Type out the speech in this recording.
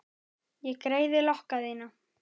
Ég greiði lokka þína.